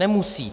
Nemusí.